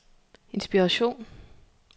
inspiration